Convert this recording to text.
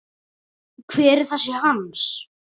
Hver er þessi Hans?